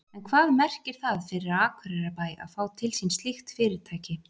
En hvað merkir það fyrir Akureyrarbæ að fá til sín slíkt fyrirtæki?